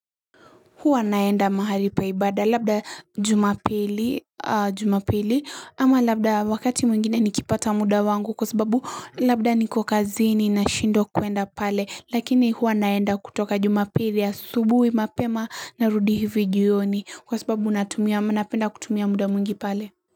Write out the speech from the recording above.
Huwa naenda mahali pa ibada labda jumapili ama labda wakati mwingine nikipata muda wangu kwa sababu labda niko kazini nashindwa kuenda pale Lakini huwa naenda kutoka jumapili asubuhi mapema narudi hivi jioni kwa sababu natumia ama napenda kutumia muda mwingi pale.